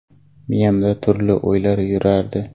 Miyamda turli o‘ylar yurardi.